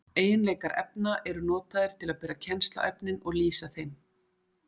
Eiginleikar efna eru notaðir til að bera kennsl á efnin og lýsa þeim.